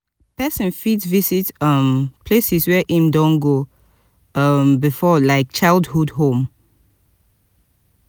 person fit visit um places where im do go um before like childhood home